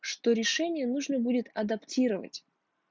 что решение нужно будет адаптировать